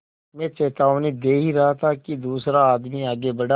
मैं चेतावनी दे ही रहा था कि दूसरा आदमी आगे बढ़ा